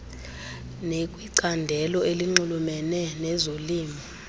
nekwicandelo elinxulumene nezolimo